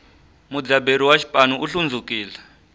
mudzaberi wa xipanu u hlundzukile